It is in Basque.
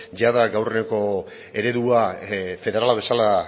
jada gaurko eredua federala bezala